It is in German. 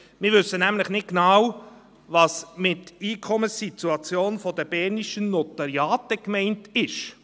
Wir wissen nämlich nicht genau, was mit «Einkommenssituation der bernischen Notariate» gemeint ist.